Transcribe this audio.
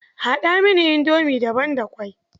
Haɗa mini indomi da ban da ƙwai.